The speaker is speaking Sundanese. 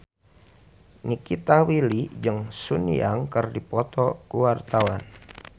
Nikita Willy jeung Sun Yang keur dipoto ku wartawan